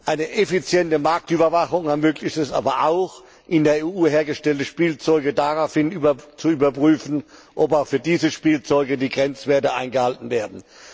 Eine effiziente Marktüberwachung ermöglicht es aber auch, in der EU hergestellte Spielzeuge daraufhin zu überprüfen, ob auch für diese Spielzeuge die Grenzwerte eingehalten werden.